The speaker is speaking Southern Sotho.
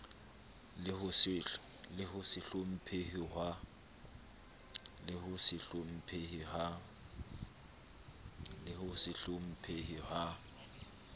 le ho se hlomphehe ha